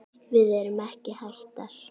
Við erum ekki hættar.